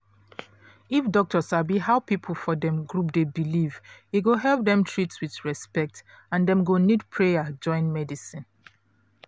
if doctor sabi how people for dem group dey believe e go help dem treat with respect and dem go need prayer join medicine